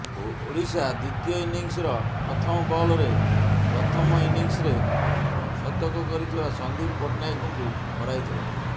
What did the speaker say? ଓଡ଼ିଶା ଦ୍ୱିତୀୟ ଇନିଂସ୍ର ପ୍ରଥମ ବଲ୍ରେ ପ୍ରଥମ ଇନିଂସ୍ରେ ଶତକ କରିଥିବା ସନ୍ଦୀପ ପଟ୍ଟନାୟକଙ୍କୁ ହରାଇଥିଲା